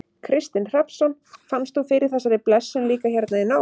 Kristinn Hrafnsson: Fannst þú fyrir þessari blessun líka hérna í nótt?